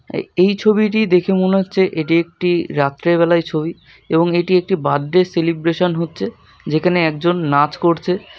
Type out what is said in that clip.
এ এই ছবিটি দেখে মনে হচ্ছে এটি একটি রাত্রের বেলায় ছবি এবং এটি একটি বার্থডে সেলিব্রেশন হচ্ছে যেখানে একজন নাচ করছে ।